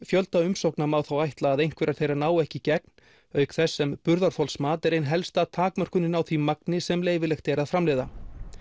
fjölda umsókna má þó ætla að einhverjar þeirra nái ekki í gegn auk þess sem burðarþolsmat er ein helsta takmörkunin á því magni sem leyfilegt er að framleiða